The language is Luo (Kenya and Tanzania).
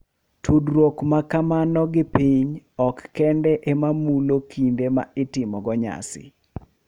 Tudruok ma kamano gi piny ok kende ema mulo kinde ma itimogo nyasi .